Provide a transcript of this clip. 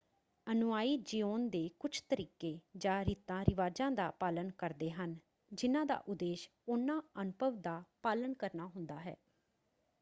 ਅਨੁਯਾਈ ਜਿਓਣ ਦੇ ਕੁਝ ਤਰੀਕੇ ਜਾਂ ਰੀਤਾਂ-ਰਿਵਾਜਾਂ ਦਾ ਪਾਲਣ ਕਰਦੇ ਹਨ ਜਿਹਨਾਂ ਦਾ ਉਦੇਸ਼ ਉਨ੍ਹਾਂ ਅਨੁਭਵ ਦਾ ਪਾਲਣ ਕਰਨਾ ਹੁੰਦਾ ਹੈ।